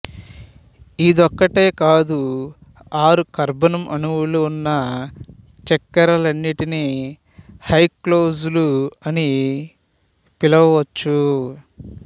ఇదొక్కటే కాదు ఆరు కర్బనం అణువులు ఉన్న చక్కెరలన్నిటిని హెక్సోజులు అని పిలవచ్చు